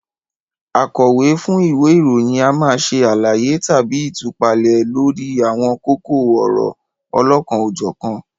Akọ̀wé fún ìwé ìròyìn a máa ṣe àlàyé tàbí ìtúpalẹ̀ lórí àwọn kókó ọ̀rọ̀ olokan-o-jokan